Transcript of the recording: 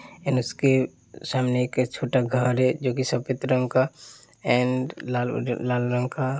end उसके सामने एक छोटा घर है जो के सफेद रंग का एन्ड लाल लाल रंग का--